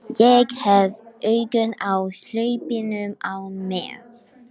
Ég hef augun á hlaupinu á með